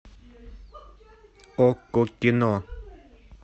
окко кино